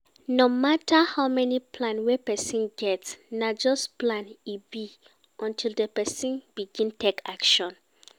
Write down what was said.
No matter how many plan wey person get, na just plan e be until di person begin take action